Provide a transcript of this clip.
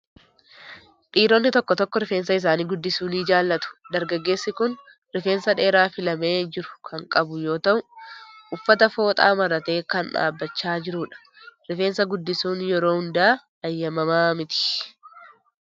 Dhiironni tokko tokko rifeensa isaanii guddisuu ni jaalatu. Dargaggeessi kun rifeensa dheeraa filamee jiru kan qabu yoo ta'u, uffata fooxaa maratee kan dhaabbachaa jirudha. Rifeensa guddisuun yeroo hunda eeyyamamaa miti.